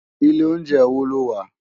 Ilé óunjè wó ló wà?